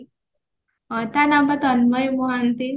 ତା ନାଁ ପା ତନ୍ମୟ ମହାନ୍ତି